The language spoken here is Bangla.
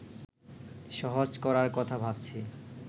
সহজ করার কথা ভাবছি